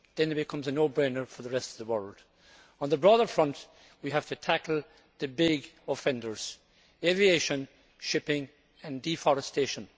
It then becomes a no brainer for the rest of the world. On the broader front we have to tackle the big offenders aviation, shipping and deforestation.